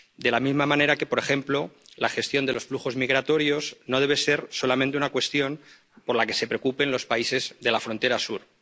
De la misma manera que, por ejemplo, la gestión de los flujos migratorios no debe ser solamente una cuestión por la que se preocupen los países de la frontera sur.